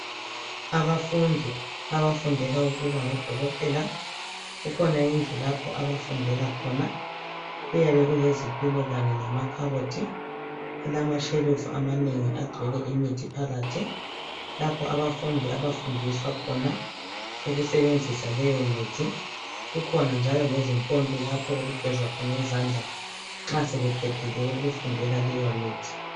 Abafundi abafundela ukuba ngodokotela kukhona indlu lapho abafundela khona. Kuyabe kulezitulo kanye lamakhabothi alamashelufu amanengi agcwele imithi phakathi, lapho abafundi abafundiswa khona ukusebenzisa leyo mithi. Kukhona njalo lezimpompi lapho okugezwa khona izandla nxa sebeqedile ukufundela leyo mithi.